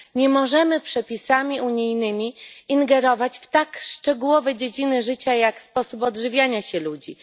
nie możemy przepisami unijnymi ingerować w tak szczegółowe dziedziny życia jak sposób odżywiania się ludzi.